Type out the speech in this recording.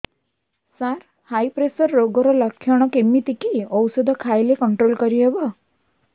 ସାର high pressure ରୋଗର ଲଖଣ କେମିତି କି ଓଷଧ ଖାଇଲେ କଂଟ୍ରୋଲ କରିହେବ